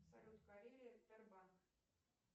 салют карелия тербанк